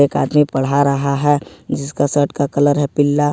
एक आदमी पढ़ा रहा है जिसका शर्ट का कलर है पीला।